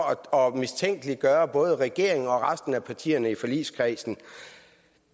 at mistænkeliggøre både regeringen og resten af partierne i forligskredsen